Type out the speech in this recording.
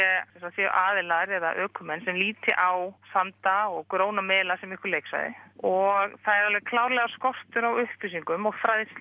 séu aðilar eða ökumenn sem líti á sanda og gróin einhver leiksvæði og það er alveg klárlega skortur á upplýsingum og